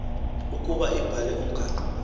ukuba ibhale umgaqo